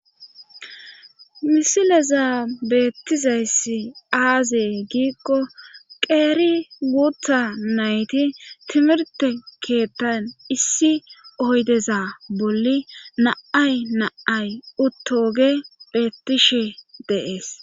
misileza beettizayssi aazee giikko qeeri guutha nayti timirte keettan issi oydeza bolli naay naay uttoge beettishe deees